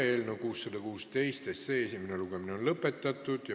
Eelnõu 616 esimene lugemine on lõpetatud.